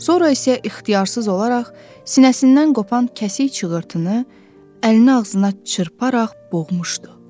Sonra isə ixtiyarsız olaraq sinəsindən qopan kəsik çığırtını, əlini ağzına çırparaq boğmuşdu.